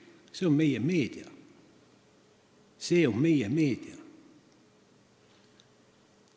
Selline on meie meedia!